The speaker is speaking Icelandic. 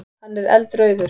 Hann er eldrauður.